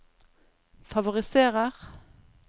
favoriserer